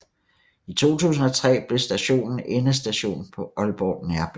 I 2003 blev stationen endestation på Aalborg Nærbane